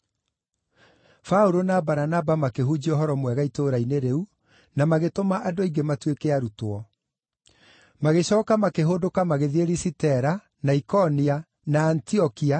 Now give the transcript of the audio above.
Paũlũ wa Baranaba makĩhunjia ũhoro mwega itũũra-inĩ rĩu na magĩtũma andũ aingĩ matuĩke arutwo. Magĩcooka makĩhũndũka magĩthiĩ Lisitera, na Ikonia, na Antiokia,